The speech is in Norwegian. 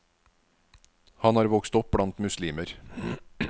Han var vokst opp blant muslimer.